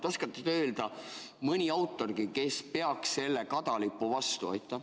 Oskate te öelda mõne autori, kes läbiks selle kadalipu?